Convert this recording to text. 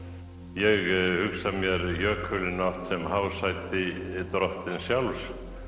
ég hugsa mér jökulinn oft sem hásæti drottins sjálfs